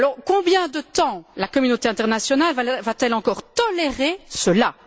Combien de temps la communauté internationale va t elle encore tolérer cela?